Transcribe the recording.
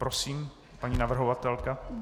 Prosím paní navrhovatelka.